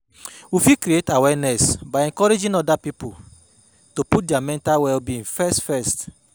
we fit create awareness by encouraging oda pipo to put their mental well-being first first